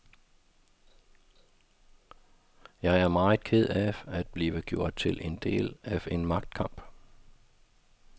Jeg er meget ked af at blive gjort til en del af en magtkamp.